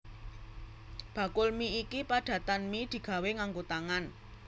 Bakul mi iki padatan mi digawé nganggo tangan